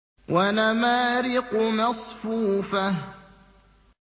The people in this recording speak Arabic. وَنَمَارِقُ مَصْفُوفَةٌ